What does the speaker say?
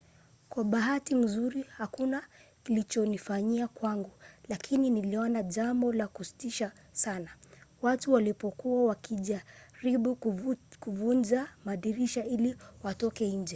"kwa bahati nzuri hakuna klichofanyika kwangu lakini niliona jambo la kutisha sana watu walipokuwa wakijaribu kuvunja madirisha ili watoke nje